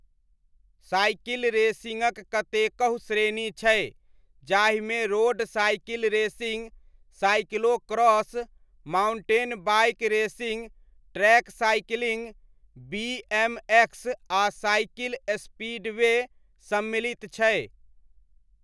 Cycle रेसिङ्गक कतेकहु श्रेणी छै जाहिमे road cycle racing, cyclo cross, mountain bike racing, track cycling, BMX आ साइकिल स्पीडवे सम्मिलित छै।